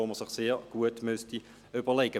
Diesen müsste man sich sehr gut überlegen.